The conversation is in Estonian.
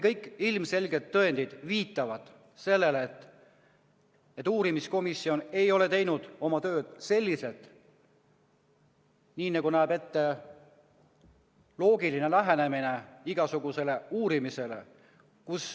Kõik ilmselged tõendid viitavad sellele, et uurimiskomisjon ei ole teinud oma tööd nii, nagu näeb ette loogiline lähenemine igasugusele uurimisele.